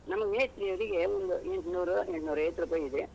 ನಮ್ಮ ಮೇಸ್ತ್ರಿಯವ್ರಿಗೆ ಒಂದು ಎಂಟ್ನೂರು, ಎಂಟ್ನೂರೈವತ್ತು ರೂಪಾಯಿ ಇದೆ.